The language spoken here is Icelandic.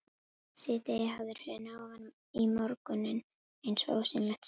Síðdegið hafði hrunið ofan í morguninn eins og ósýnilegt snjóflóð.